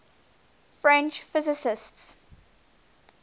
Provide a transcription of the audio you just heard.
french physicists